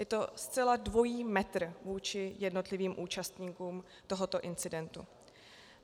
Je to zcela dvojí metr vůči jednotlivými účastníkům tohoto incidentu.